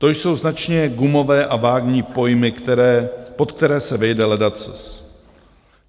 To jsou značně gumové a vágní pojmy, pod které se vejde ledacos.